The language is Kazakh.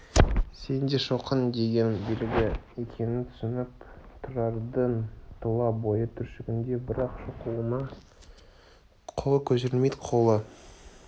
сен де шоқын деген белгі екенін түсініп тұрардың тұла бойы түршігеді бірақ шоқынуға қолы көтерілмейді қолы